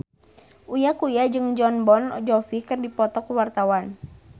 Uya Kuya jeung Jon Bon Jovi keur dipoto ku wartawan